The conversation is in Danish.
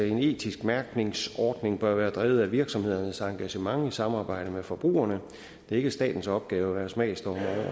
en etisk mærkningsordning bør være drevet af virksomhedernes engagement i samarbejde med forbrugerne det er ikke statens opgave at være smagsdommer